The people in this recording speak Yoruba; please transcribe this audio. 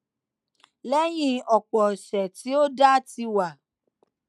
léyìn òpò òsè tí òdá ti wà